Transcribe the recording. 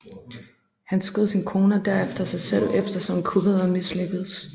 Han skød sin kone og derefter sig selv eftersom kuppet var mislykkedes